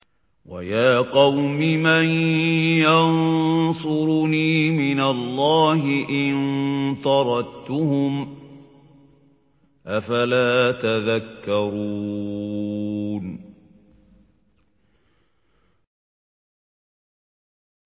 وَيَا قَوْمِ مَن يَنصُرُنِي مِنَ اللَّهِ إِن طَرَدتُّهُمْ ۚ أَفَلَا تَذَكَّرُونَ